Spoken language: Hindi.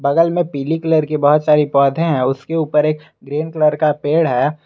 बगल में पीली कलर की बहुत सारी पौधे हैं उसके ऊपर एक ग्रीन कलर का पेड़ है।